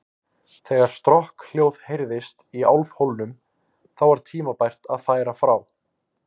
Þegar strokkhljóð heyrðist í álfhólnum, þá var tímabært að færa frá.